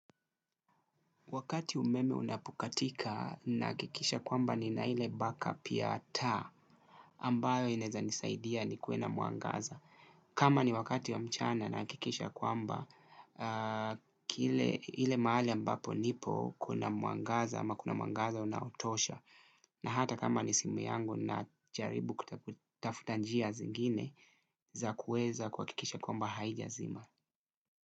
Wakati umeme unapokatika nahakikisha kwamba nina ile back up ya taa ambayo inaweza nisaidia nikuwe na mwangaza. Kama ni wakati ya mchana nahakikisha kwamba ile mahali ambapo nipo kuna mwangaza unaotosha. Na hata kama ni simu yangu najaribu kutafuta njia zingine za kuweza kuhakikisha kwamba haijazima.